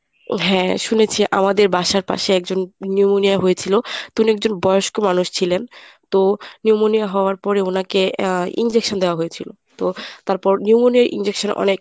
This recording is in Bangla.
হ্যাঁ শুনেছি আমাদের বাসার পাশে একজন pneumonia হয়েছিল তো উনি একজন বয়স্ক মানুষ ছিলেন তো pneumonia হওয়ার পরে উনাকে আহ injection দেওয়া হয়েছিল তো তারপর pneumonia’র injection অনেক